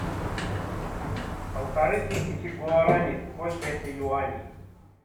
полторы тысячи гуарани сколько это юаней